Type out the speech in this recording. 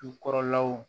Dukɔrɔlaw